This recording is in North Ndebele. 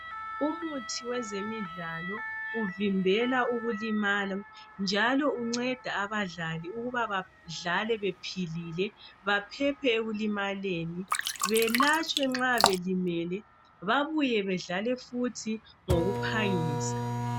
Umuthi wezemidlalo uvimbela ukulimala njalo unceda abadlali ukuba badlale bephilile, baphephe ekulimaleni. Belatshwe nxa belimele babuye bedlale futhi ngokuphangisa.